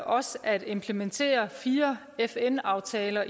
også at implementere fire fn aftaler